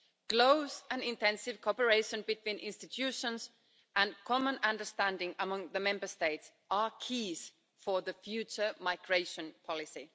Close and intensive cooperation between institutions and common understanding among the Member States are key for the future migration policy.